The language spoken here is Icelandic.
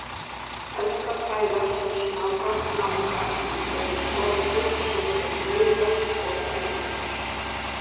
Helsta fæða svo smárra snáka eru skordýr svo sem maurar og termítar.